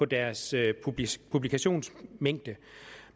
deres publikationsmængde